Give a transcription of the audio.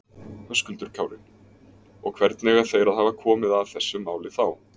Höskuldur Kári: Og hvernig eiga þeir að hafa komið að þessu máli þá?